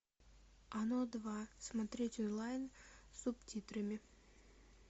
оно два смотреть онлайн с субтитрами